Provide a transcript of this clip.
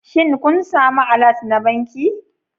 Shin kun sami allert na banki